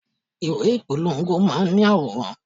Ìwé ìpolongo máa ń ní àwòrán.